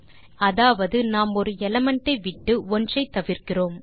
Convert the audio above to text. அதாவது நாம் ஒரு எலிமெண்ட் விட்டு ஒன்றை தவிர்க்கிறோம்